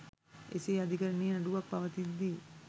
එසේ අධිකරණයේ නඩුවක් පවතිද්දී